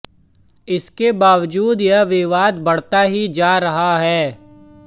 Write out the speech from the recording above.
इसके बावजूद यह विवाद बढ़ता ही जा रहा है